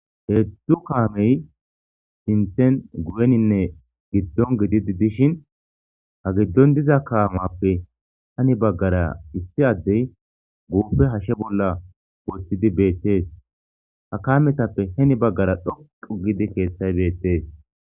Heeddzu kaamey sinthen guyeninne giddon gididi dishin ha giddon diza kaamappe hani baggara issi addey guuppe hashe bolla woththidi beettees ha kaametappe heni baggara dhoqu gidi keeththay beettees.